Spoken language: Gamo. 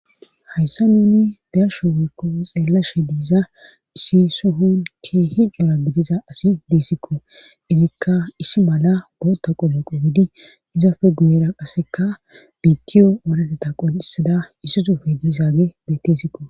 hayssa nuni beyashe wokko xeellashe diiza issi sohon keehi cora gidiza asi deessikko izikka isi mala boota qoloqo widi izafe guyera qasseka biittiyo oorateta qonxisada issi suufe diizaage betteesikko